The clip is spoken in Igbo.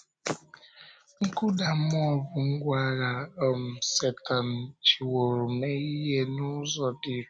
Nkụda mmụọ bụ ngwá agha um Sẹ́tán jìwòrò mee ihe n’ụzọ dị irè.